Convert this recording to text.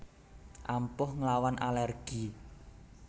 Ampuh nglawan alergi